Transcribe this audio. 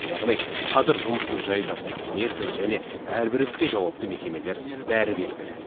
яғни қазір жұмыстың жай жапсары мерзімі және әрбір іске жауапты мекемелер бәрі белгілі